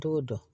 T'o dɔn